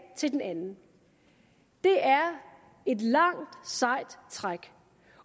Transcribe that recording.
til den anden det er et langt sejt træk